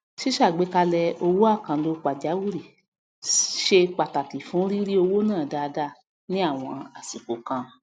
sísàgbékalẹ owó àkànlò pàjáwìrì se pàtàkì fún rírí owó ná dáadá ní àwọn àsìkò kan